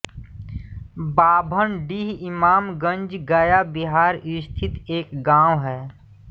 बाभनडीह इमामगंज गया बिहार स्थित एक गाँव है